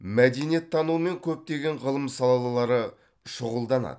мәдениеттану мен көптеген ғылым салалары шұғылданады